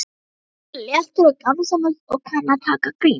Halldór er léttur og gamansamur og kann að taka gríni.